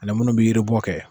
Ani munnu bi yiri bɔ kɛ.